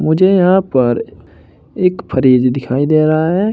मुझे यहां पर एक फ्रिज दिखाई दे रहा है।